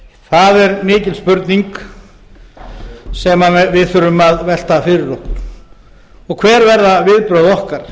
það er mikil spurning sem við þurfum að velta fyrir okkur og hver verða viðbrögð okkar